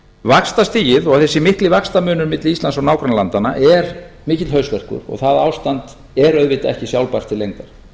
vaxtastigið og þessi mikli vaxtamunur milli íslands og nágrannalandanna er mikill hausverkur og það ástand er auðvitað ekki sjálfbært til lengdar